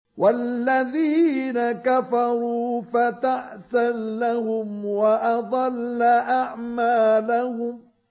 وَالَّذِينَ كَفَرُوا فَتَعْسًا لَّهُمْ وَأَضَلَّ أَعْمَالَهُمْ